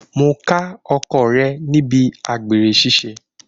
Mo ká ọkọ rẹ̀ níbi àgbèrè ṣiṣẹ́.